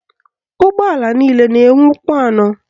Ụgbọala niile na-enwe ụkwụ anọ.